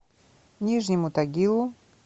нижнему тагилу